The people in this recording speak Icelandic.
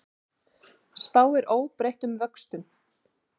Spáir óbreyttum vöxtum